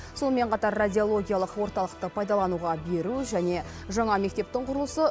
сонымен қатар радиологиялық орталықты пайдалануға беру және жаңа мектептің құрылысы